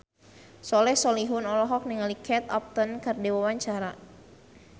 Soleh Solihun olohok ningali Kate Upton keur diwawancara